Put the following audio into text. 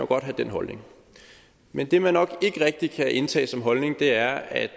godt have den holdning men det man nok ikke rigtig kan indtage som holdning er at